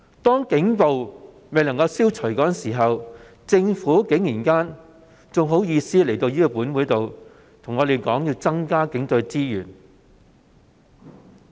當警暴未能消除時，政府竟然還有顏臉要求立法會增加警隊資源。